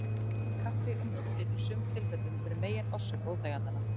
Kaffi og mjólk getur í sumum tilfellum verið megin orsök óþægindanna.